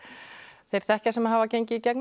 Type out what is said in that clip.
þeir þekkja sem hafa gengið í gegnum